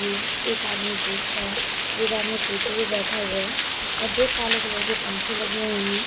एक आदमी देख रहा है एक आदमी कुर्सी पे बैठा हुआ है दो काले कलर के पंखे लगे हुए है।